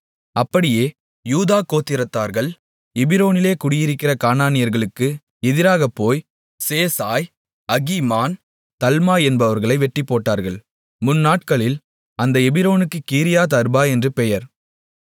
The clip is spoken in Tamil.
அப்படியே யூதா கோத்திரத்தார்கள் எபிரோனிலே குடியிருக்கிற கானானியர்களுக்கு எதிராகப்போய் சேசாய் அகீமான் தல்மாய் என்பவர்களை வெட்டிப்போட்டார்கள் முன்நாட்களில் அந்த எபிரோனுக்கு கீரியாத் அர்பா என்று பெயர்